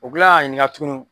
U bi kila ka ɲininka tukuni